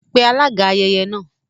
Pe alága ayẹyẹ náà